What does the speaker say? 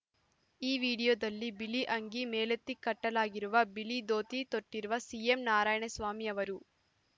ಈ ವಿಡಿಯೋದಲ್ಲಿ ಬಿಳಿ ಅಂಗಿ ಮೇಲೆತ್ತಿ ಕಟ್ಟಲಾಗಿರುವ ಬಿಳಿ ದೋತಿ ತೊಟ್ಟಿರುವ ಸಿಎಂ ನಾರಾಯಣಸ್ವಾಮಿ ಅವರು